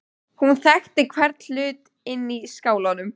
Hún þekkti hvern hlut inni í skálanum.